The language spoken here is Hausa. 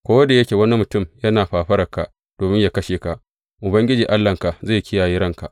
Ko da yake wani mutum yana fafaranka domin yă kashe ka, Ubangiji Allahnka zai kiyaye ranka.